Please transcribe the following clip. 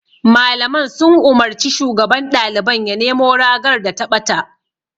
Malaman sun umarci shugaban ɗaliban ya nemo ragar da ta ɓata.